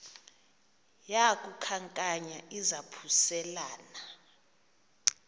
yaku khankanya izaphuselana